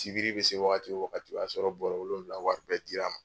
Sibiri be se wagati o wagati, a y'a sɔrɔ bɔrɔ wolonwula wari bɛɛ dir'a ma.